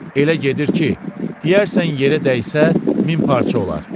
Elə gedir ki, deyərsən yerə dəysə, min parça olar.